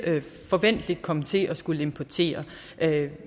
forventeligt komme til at skulle importere